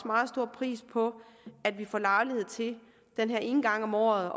meget stor pris på at vi får lejlighed til den her ene gang om året